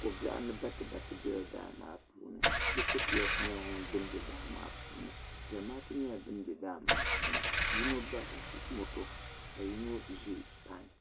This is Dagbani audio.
kobiɛɣu ni batibati bela daa maa puuni lotokiyosi nyela din be daa maa puuni ʒemaatu nyela din be daa maa puuni yino bari la moto ka yino ʒi payin.